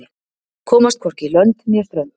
Komst hvorki lönd né strönd